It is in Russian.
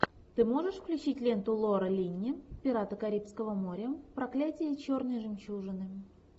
ты можешь включить ленту лора линни пираты карибского моря проклятие черной жемчужины